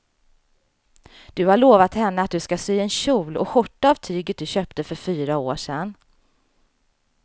Du har lovat henne att du ska sy en kjol och skjorta av tyget du köpte för fyra år sedan.